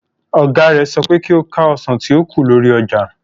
Ọ̀gá rẹ̀ sọ pé kí ó ka ọsàn tí ó kù lórí ọjà.